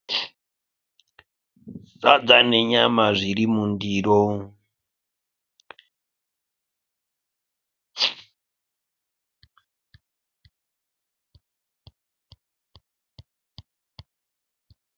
Sadza nenyama zviri mundiro.